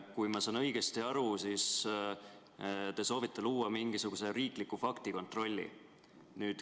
Kui ma olen õigesti aru saanud, siis te soovite luua mingisuguse riikliku faktikontrolli.